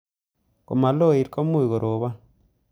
Ngomaloit komuuch korobon